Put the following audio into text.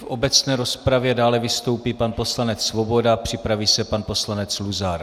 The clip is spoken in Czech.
V obecné rozpravě dále vystoupí pan poslanec Svoboda, připraví se pan poslanec Luzar.